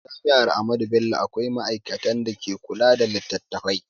A jami'ar Ahmadu Bello akwai ma'aikatan da ke kula da littattafai